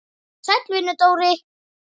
Sæll vinur, Dóri!